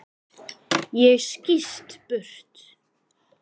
Ég skýst burt.